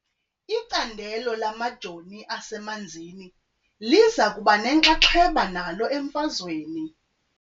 Icandelo lamajoo asemanzini liza kuba nenxaxheba nalo emfazweni .